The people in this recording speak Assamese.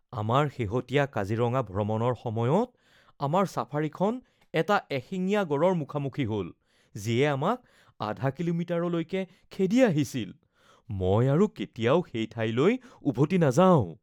আমাৰ শেহতীয়া কাজিৰঙা ভ্ৰমণৰ সময়ত, আমাৰ ছাফাৰীখন এটা এশিঙীয়া গঁড়ৰ মুখামুখি হ’ল, যিয়ে আমাক আধা কিলোমিটাৰলৈকে খেদি আহিছিল। মই আৰু কেতিয়াও সেই ঠাইলৈ উভতি নাযাওঁ।